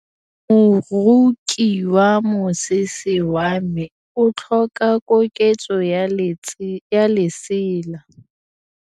Moroki wa mosese wa me o tlhoka koketsô ya lesela.